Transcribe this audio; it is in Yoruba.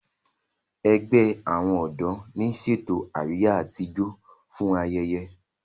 àgbè àwọn odò ní ṣètò Àríyá àti ìjọ fún ayẹyẹ.